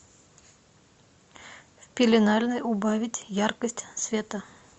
в пеленальной убавить яркость света